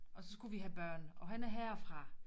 Og så skulle vi have børn og han er herfra